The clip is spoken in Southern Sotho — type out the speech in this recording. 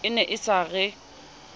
e ne e sa re